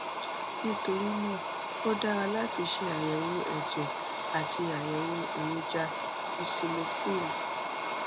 nítorí náà ó dára láti ṣe àyẹwò ẹjẹ àti àyẹwò èròjà eosinophil